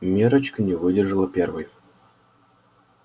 миррочка не выдержала первой